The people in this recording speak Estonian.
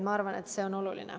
Ma arvan, et see on oluline.